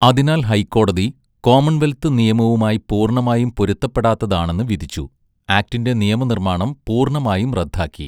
അതിനാൽ ഹൈക്കോടതി, കോമൺവെൽത്ത് നിയമവുമായി പൂർണ്ണമായും പൊരുത്തപ്പെടാത്തതാണെന്ന് വിധിച്ചു, ആക്ടിൻ്റെ നിയമനിർമ്മാണം പൂർണ്ണമായും റദ്ദാക്കി.